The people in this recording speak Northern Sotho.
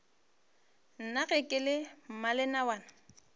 na ge ke le mmalenawana